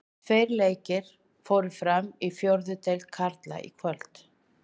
Tveir leikir fóru fram í fjórðu deild karla í kvöld.